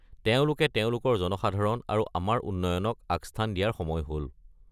তেওঁলোকে তেওঁলোকৰ জনসাধাৰণ আৰু আমাৰ উন্নয়নক আগস্থান দিয়াৰ সময় হ'ল।